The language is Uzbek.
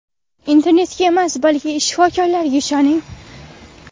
Internetga emas, balki shifokorlarga ishoning!